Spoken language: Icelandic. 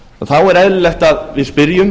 þá er eðlilegt að við spyrjum